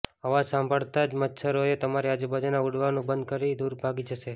અવાજ સાંભળતા જ મચ્છરો તમારી આજુબાજુમાં ઉડવાનુ બંધ કરી દૂર ભાગી જશે